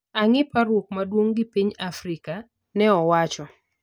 "angi parruok maduong gi piny Afrika" ne owacho